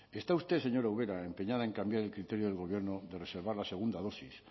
está usted señora ubera empeñada en cambiar el criterio del gobierno de reservar la segunda dosis